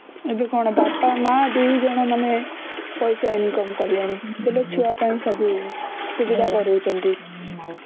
ଏବେ କଣ ବି ଅପା ମା ଦୁଇ ଜଣ ମାନେ ପଇସା income କଲେଣି ବେଳେ ଛୁଆ ପାଇଁ ସବୁ ସୁବିଧା କରାଉଛନ୍ତି